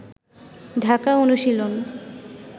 ঢাকা অনুশীলন